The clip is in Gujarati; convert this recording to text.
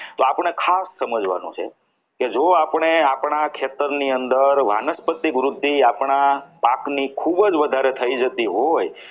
તો આપણે ખાસ સમજવાનું છે કે જો આપણે આપણા ખેતરની અંદર વાનસ્પતિક વૃદ્ધિ આપણા પાકની ખૂબ જ વધારે થઈ જતી હોય